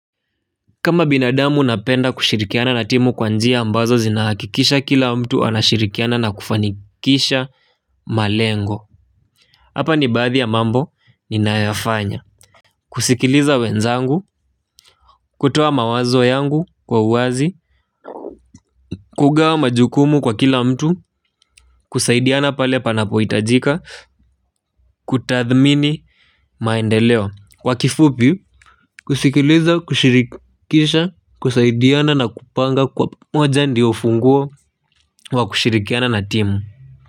Kama binadamu napenda kushirikiana na timu kwa njia ambazo zinahakikisha kila mtu anashirikiana na kufanikisha malengo. Hapa ni baadhi ya mambo ninayoyafanya. Kusikiliza wenzangu, kutoa mawazo yangu kwa uwazi kugawa majukumu kwa kila mtu, kusaidiana pale panapohitajika, kutathmini maendeleo kwa kifupi, kusikiliza, kushirikisha, kusaidiana na kupanga kwa pamoja ndiyo ufunguo wa kushirikiana na timu.